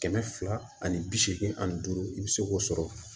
Kɛmɛ fila ani bi seegin ani duuru i bi se k'o sɔrɔ